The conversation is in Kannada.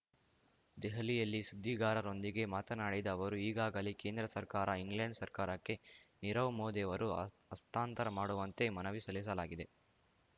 ದೆಹಲಿಯಲ್ಲಿ ಸುದ್ದಿಗಾರರೊಂದಿಗೆ ಮಾತನಾಡಿದ ಅವರು ಈಗಾಗಲೇ ಕೇಂದ್ರ ಸರ್ಕಾರ ಇಂಗ್ಲೆಂಡ್ ಸರ್ಕಾರಕ್ಕೆ ನೀರವ್ ಮೋದಿ ಅವರು ಹಸ್ತಾಂತರ ಮಾಡುವಂತೆ ಮನವಿ ಸಲ್ಲಿಸಲಾಗಿದೆ